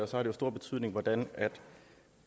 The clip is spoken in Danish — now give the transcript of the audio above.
så har det stor betydning hvordan